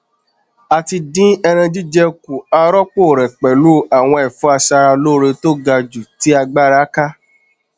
a ti dín ẹran jíjẹ kù a rọpò rẹ pẹlú àwọn ẹfọ aṣaralóore tó ga jù tí agbára ká